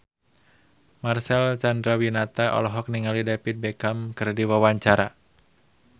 Marcel Chandrawinata olohok ningali David Beckham keur diwawancara